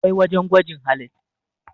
akwai wajen gwajin halittu